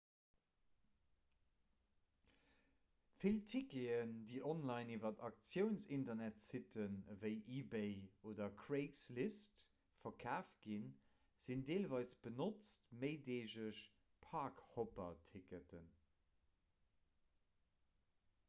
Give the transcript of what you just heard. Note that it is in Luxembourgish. vill ticketen déi online iwwer auktiounsinternetsitten ewéi ebay oder craigslist verkaaft ginn sinn deelweis benotzt méideegeg park-hopper-ticketen